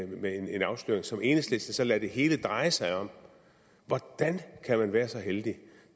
med en afsløring som enhedslisten så lader det hele dreje sig om hvordan kan man være så heldig